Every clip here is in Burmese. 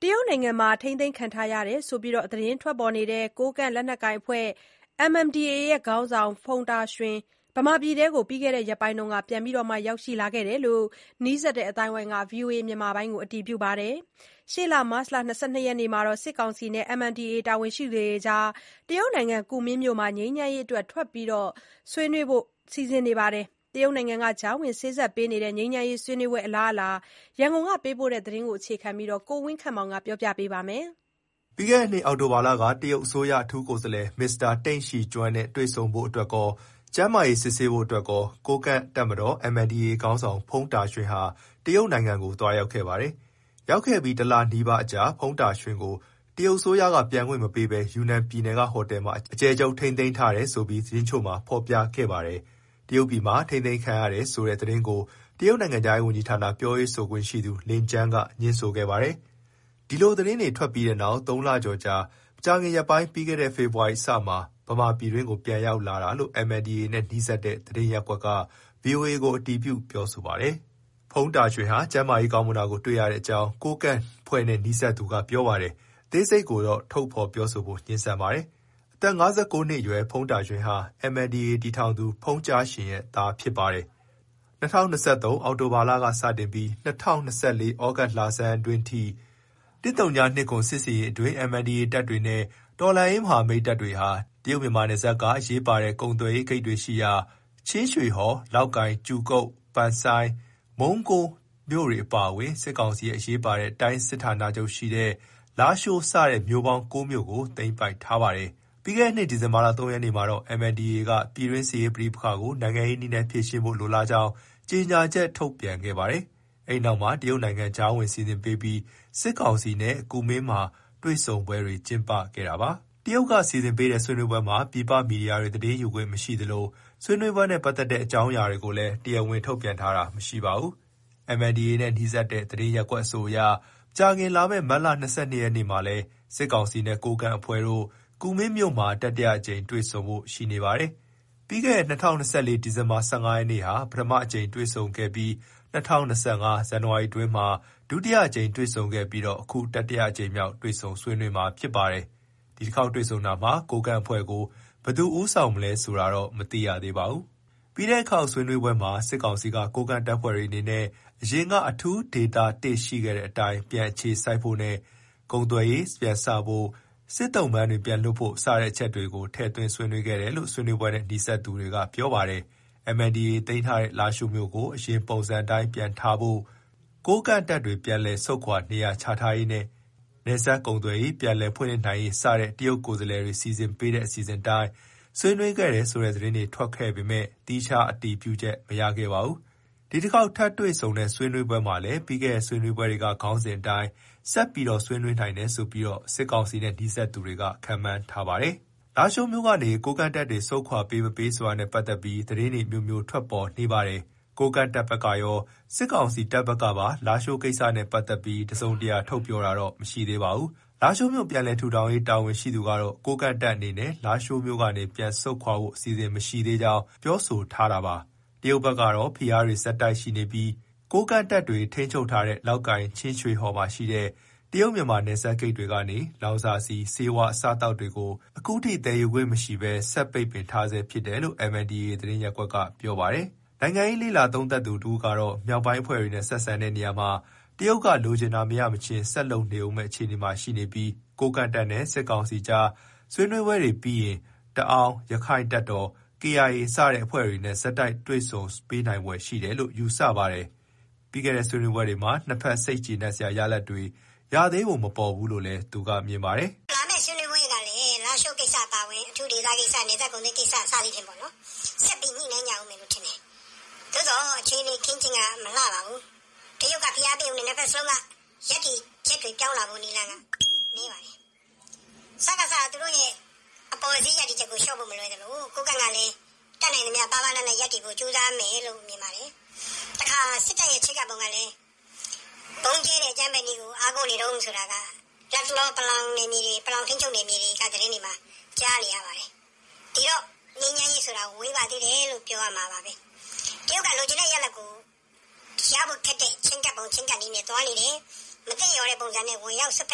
တရုတ်နိုင်ငံမှာ ထိန်းသိမ်းခံထားရတယ်ဆိုပြီး သတင်းထွက်ခဲ့တဲ့ ကိုးကန့်လက်နက်ကိုင်အဖွဲ့ (MNDAA) ခေါင်းဆောင် ဖုန်တာရွှင် ဗမာပြည်တွင်းကိုပြီးခဲ့တဲ့ ရက်ပိုင်းက ပြန်ရောက်လာခဲ့တယ်လို့ နီးစပ်သူ အသိုင်းအဝိုင်းက ဗွီအိုအေကို အတည်ပြုပါတယ်။ ရှေ့လ မတ်လ ၂၂ ရက်မှာလည်း စစ်ကောင်စီနဲ့ MNDAA တာဝန်ရှိသူတွေ တရုတ်နိုင်ငံ ကူမင်းမြို့မှာ ငြိမ်းချမ်းရေးအတွက် ထပ်မံ တွေ့ဆုံဆွေးနွေးဖို့ လည်း စီစဉ်ထားတာပါ။ တရုတ်နိုင်ငံက ကြားဝင်စေ့စပ်ပေးနေတဲ့ ဆွေးနွေးပွဲ အလားအလာ ရန်ကုန်က သတင်းပေးပို့ ထားတာကို အခြေခံပြီးတင်ပြထားပါတယ်။ ပြီးခဲ့တဲ့နှစ် အောက်တိုဘာလက တရုတ်အစိုးရ အထူးကိုယ်စားလှယ် မစ္စတာ တိန့်ရှီကျွင်းနဲ့ တွေ့ဆုံဖို့ အတွက်ကော၊ ကျန်းမာရေးဆေးစစ်ရန်အတွက်ပါ ကိုးကန့်တပ်မတော် (MNDAA) ခေါင်းဆောင် ဖုန်တာရွှင်ဟာ တရုတ်ကို သွားရောက်ခဲ့ပါတယ်။ ရောက်ခဲ့ပြီး တလနီးပါးအကြာမှာ ဖုန်တာရွှင်ကို တရုတ်အစိုးရက ပြန်ခွင့်မပေးဘဲ ယူနန်ပြည်နယ်ကဟိုတယ်မှာ အကျယ်ချုပ် ထိန်းသိမ်းထားတယ် ဆိုပြီး သတင်းတချို့မှာ ဖေါ်ပြခဲ့ပါတယ်။ တရုတ်ပြည်မှာ ထိန်းသိမ်းခံထားရတယ်ဆိုတဲ့သတင်းကို တရုတ်နိုင်ငံခြားရေးဝန်ကြီးဌာန ပြောရေးဆိုခွင့်ရှိသူ လင်ကျန်းက ငြင်းဆိုခဲ့ပါတယ်။ ဒီလိုသတင်းတွေ ထွက်ပြီးနောက် ၃ လကျော်အကြာ မကြာခင်ရက်ပိုင်း ပြီးခဲ့တဲ့ ဖေဖေါ်ဝါရီလအစမှာ ဗမာပြည်တွင်းကို ပြန်ရောက်လာတာလို့ MNDAA နဲ့ နီးစပ်တဲ့ သတင်းရပ်ကွက်က VOA ကို အတည်ပြုပါတယ်။ ဖုန်တာရွှင်ဟာ ကျန်းမာရေး ကောင်းမွန်တာကို တွေ့ရအကြောင်း ကိုးကန့်အဖွဲ့နဲ့နီးစပ်တဲ့သူက ပြောပါ တယ်။ အသေးစိတ်ကိုတော့ ထုတ်ဖော်ပြောဖို့ငြင်းဆန်ပါတယ်။ အသက် ၅၉ နှစ်အရွယ် ဖုန်တာရွှင်ဟာ MNDAA တည်ထောင်သူ ဖုန်ကြားရှင်ရဲ့သားဖြစ်ပါတယ်။ ၂၀၂၃ နှစ် အောက်တိုဘာလကစပြီး ၂၀၂၄ သြဂုတ်လဆန်းအတွင်းထိ ၁၀၂၇ စစ်ဆင်ရေးအတွင်း MNDAA တပ်တွေနဲ့ တော်လှန်ရေးမဟာမိတ် တပ်တွေဟာ တရုတ်-မြန်မာနယ်စပ်က အရေးပါတဲ့ ကုန်သွယ်ရေးဂိတ်တွေရှိရာ ချင်းရွှေဟော်၊ လောက်ကိုင်၊ ကြူကုတ်၊ ပန်ဆိုင်း၊ မုံးကိုမြို့တွေ အပါအဝင် စစ်ကောင်စီရဲ့ အရေးပါတဲ့ တိုင်းစစ်ဌာနချုပ်ရှိရာ လားရှိုးစတဲ့ မြို့ပေါင်း ကိုးမြို့ကို သိမ်းပိုက်ထားပါတယ်။ ပြီးခဲ့တဲ့နှစ် ဒီဇင်ဘာ ၃ ရက်နေ့မှာတော့ MNDAA က ပြည်တွင်းစစ်ရေးပဋိပက္ခကို နိုင်ငံရေးနည်းနဲ့ ဖြေရှင်းဖို့ လိုလားကြောင်း ကြေညာချက် ထုတ်ပြန်ခဲ့ပါတယ်။ အဲနောက်မှာ တရုတ်နိုင်ငံ ကြားဝင်စီစဉ်ပေးပြီး စစ်ကောင်စီနဲ့ကူမင်း မှာ တွေ့ဆုံပွဲတွေ ကျင်းပခဲ့ပါတယ်။ တရုတ်က စီစဉ်ပေးတဲ့ ဆွေးနွေးပွဲမှာ ပြည်ပ မီဒီယာတွေ သတင်းယူခွင့် မရှိသလို ဆွေးနွေးပွဲနဲ့ ပတ်သက်တဲ့အကြောင်းအရာတွေကိုလည်း တရားဝင် ထုတ်ဖေါ်ပြောတာ မရှိပါဘူး။ MNDAA နဲ့ နီးစပ်တဲ့ သတင်းရပ်ကွက်အဆိုအရ မကြာခင် လာမယ့် မတ်လ ၂၂ ရက်နေ့မှာလည်း စစ်ကောင်စီနဲ့ ကိုးကန့်အဖွဲ့တို့ ကူမင်းမှာ တတိယအကြိမ်မြောက်တွေ့ဆုံဖို့ရှိနေပါတယ်။ ပြီးခဲ့တဲ့ ၂၀၂၄ ဒီဇင်ဘာ ၁၅ ရက်နေ့က ပထမအကြိမ် တွေ့ဆုံခဲ့ပြီး ၂၀၂၅ ဇန်နဝါရီ အတွင်းမှာ ဒုတိယအကြိမ် တွေ့ဆုံခဲ့ကာ ခု တတိယအကြိမ်မြောက်တွေ့ဆုံမှာဖြစ်ပါတယ်။ ဒီတခေါက်တွေ့ဆုံတာမှာ ကိုးကန့်အဖွဲ့ကို ဘယ်သူဦးဆောင်မလဲဆိုတာ မသိရသေးပါဘူး။ ပြီးခဲ့တဲ့အခေါက်ဆွေးနွေးပွဲမှာ စစ်ကောင်စီက ကိုးကန့်တပ်ဖွဲ့တွေအနေနဲ့ အရင်က အထူးဒေသ ၁ ရှိခဲ့တဲ့အတိုင်း ပြန်အခြေစိုက်ဖို့နဲ့ ကုန်သွယ်ရေးပြန်စဖို့ စစ်သုံ့ပန်းတွေပြန်လွှတ်ဖို့ စတဲ့အချက်တွေကို ထည့်သွင်းဆွေးနွေးခဲ့တယ်လို့ ဆွေးနွေးပွဲနဲ့ နီးစပ်သူတွေက ပြောခဲ့ပါတယ်။ MNDAA သိမ်းထားတဲ့ လားရှိုးမြို့ကို အရင်ပုံစံအတိုင်း ပြန်ထားဖို့၊ ကိုးကန့်တပ်တွေ ပြန်လည်ဆုတ်ခွာနေရာချရေးနဲ့ နယ်စပ်ကုန်သွယ်ရေး ပြန်လည်ဖွင့်လှစ်နိုင်ရေး စတဲ့ တရုတ်ကိုယ်စားလှယ်တွေ စီစဉ်ပေးခဲ့တဲ့ အစီအစဉ်အတိုင်း ဆွေးနွေးခဲ့တယ်ဆိုတဲ့ သတင်းတွေထွက်ခဲ့ပေမဲ့ သီးခြားအတည်ပြုချက် မရခဲ့ပါဘူး။ ဒီတခေါက်ထပ်တွေ့ဆုံတဲ့ ဆွေးနွေးပွဲမှာလည်း ပြီးခဲ့တဲ့ ဆွေးနွေးပွဲတွေက ခေါင်းစဉ်အတိုင်း ဆက် ဆွေးနွေးနိုင်တယ်ဆိုပြီး စစ်ကောင်စီနဲ့နီးစပ်သူတွေက ခန့်မှန်းထားပါတယ်။ လားရှိုးမြို့ကနေ ကိုးကန့်တပ်တွေ ဆုတ်ခွာပေးမပေးဆိုတာနဲ့ ပတ်သက်ပြီး သတင်းတွေ အမျိုးမျိုး ထွက်ပေါ်နေပါတယ်။ ကိုးကန့်တပ်ဘက်ကရော စစ်ကောင်စီတပ်ဘက်ကပါ လားရှိုးကိစ္စနဲ့ ပတ်သက်ပြီး တစုံတရာထုတ်ပြောတာတော့ မရှိသေးပါဘူး။ လားရှိုးမြို့ ပြန်လည်ထူထောင်ရေး တာဝန်ရှိသူကတော့ ကိုးကန့်တပ်အနေနဲ့ လားရှိုးမြို့ကနေ ပြန်ဆုတ်ခွာဖို့ အစီအစဉ်မရှိသေးကြောင်း ပြောဆိုထားပြန် ပါတယ်။ တရုတ်ဘက်ကတော့ ဖိအားပေးမှုတွေ ဆက်ရှိနေပြီး ကိုးကန့်တပ်တွေ ထိန်းချုပ်ထားတဲ့ လောက်ကိုင်၊ ချင်းရွှေဟော်ရှိ တရုတ်မြန်မာနယ်စပ်ဂိတ်တွေကနေ လောင်စာဆီ၊ ဆေးဝါး၊ အစားအသောက်တွေကို ခုထိသယ်ယူခွင့်မရှိဘဲ ဆက် ပိတ်ပင်ထားဆဲဖြစ်တယ်လို့ MNDAA သတင်းရပ်ကွက်က ပြောပါတယ်။ နိုင်ငံရေးလေ့လာသုံးသပ်သူတဦးကတော့ မြောက်ပိုင်းအဖွဲ့တွေနဲ့ဆက်ဆံတဲ့နေရာမှာ တရုတ်က လိုချင်တာမရမချင်း ဆက်လုပ်နေဦးမယ့်အခြေအနေရှိနေပြီး ကိုးကန့်တပ်နဲ့ စစ်ကောင်စီအကြား ဆွေးနွေးပွဲတွေပြီးရင် တအောင်း၊ ရက္ခိုင့်တပ်တော်၊ ကေအိုင်အေ စတဲ့အဖွဲ့တွေနဲ့ ဆက်တိုက်တွေ့ဆုံ ပေးနိုင်ဖွယ်ရှိတယ်လို့ ယူဆပါတယ်။ ပြီးခဲ့တဲ့ ဆွေးနွေးပွဲတွေမှာ နှစ်ဖက် စိတ်ကျေနပ်စရာရလဒ်တွေ ရသေးပုံမပေါ်သေးဘူးလို့လည်း သူကမြင်ပါတယ်။ “လာမယ့်ဆွေးနွေးပွဲမှာလည်း လားရှိုးကိစ္စ၊ အထူးဒေသကိစ္စ၊ နယ်စပ်ကုန်သွယ်ရေးကိစ္စ၊ အဲဒါ့တွေ ဆက်ညှိနှိုင်းကြဦးမယ်ထင်တယ်။ သို့သော်အခြေအနေအ ခင်းအကျင်းမလှပါဘူး။ တရုတ်ကဖိအားပေး ပေမဲ့ နှစ်ဘက်စလုံးက ရပ်တည်ချက်တွေပြောင်းဖို့နည်းပါတယ်။ စကစ,က သူတို့အပေါ်စီး ရပ်တည် ချက်ကို လျှော့ဖို့မလွယ်သလို ကိုးကန့်ကလည်း တတ်နိုင်သမျှ ပါးပါးနပ်နပ်ရပ်မယ်လို့ မြင်တယ်။ လက်ရှိအချိန်ထိ စစ်ကောင်စီက ဗုံးကြဲတဲ့အကြမ်းဖက်နည်းကိုသာ အားကိုးနေတုန်းဆိုတာ တအောင်း ပလောင်ထိန်းချုပ်နယ်မြေတွေမှာကြားနေရတယ်။ ဒီတော့ ငြိမ်းချမ်းရေးဆိုတာ ဝေးသေးတယ်လို့ ပြောရမယ်။ တရုတ်က ရဖို့ခက်တဲ့ချဉ်းကပ်ပုံချဉ်းကပ်နည်းနဲ့သွားနေတယ်။ မသင့်လျော်တဲ့ပုံစံနဲ့ ဝင်ရောက်စွက်ဖ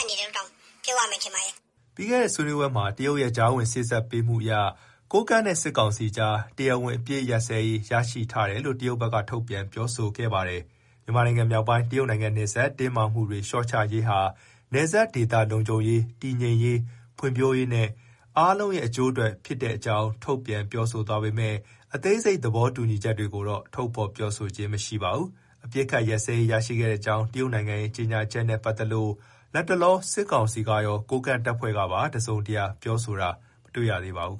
က်နေတယ်လို့ ပြောရမယ်ထင်ပါတယ်။” ပြီးခဲ့တဲ့ ဆွေးနွေးပွဲအပြီးမှာ တရုတ်ရဲ့ကြားဝင်စေ့စပ်မှုအရ ကိုးကန့်နဲ့စစ်ကောင်စီအကြား တရားဝင် အပစ်အခတ်ရပ်စဲရေး ရရှိထားတယ်လို့ တရုတ်ဘက်က ထုတ်ပြန်ပြောဆိုထားပါတယ်။ မြန်မာနိုင်ငံ မြောက်ပိုင်း တရုတ်နိုင်ငံနယ်စပ် တင်းမာမှုတွေ လျှော့ချရေးဟာ နယ်စပ်ဒေသ လုံခြုံရေး၊ တည်ငြိမ်ရေး၊ ဖွံ့ဖြိုးရေးနဲ့ အားလုံးရဲ့ အကျိုးအတွက်ဖြစ်တဲ့အကြောင်း ထုတ်ပြန်ပြောဆိုသွားပေမဲ့ အသေးစိတ် သဘောတူညီချက်တွေကိုတော့ ထုတ်ဖေါ် ပြောဆိုခြင်း မရှိပါဘူး။ အပစ်အခတ် ရပ်စဲရေး ရရှိခဲ့ကြောင်း တရုတ်နိုင်ငံရဲ့ ကြေညာချက်နဲ့ ပတ်သက်လို့ လတ်တလော စစ်ကောင်စီကရော၊ ကိုးကန့်တပ်ဖွဲ့ကပါ တစုံတရာ ပြောဆိုတာတော့ မတွေ့ရသေးပါဘူး